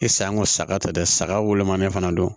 E saŋo saga ta dɛ saga wolomani fana don